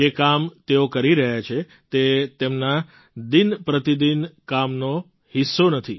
જે કામ તેઓ કરી રહ્યા છે તે તેમના દિનપ્રતિદિન કામનો હિસ્સો નથી